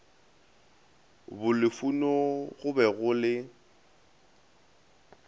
bolufuno go be go le